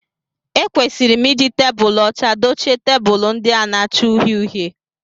Ekwesịrị m I ji tebulu ọcha dochie tebụlu ndị a na-acha uhie uhie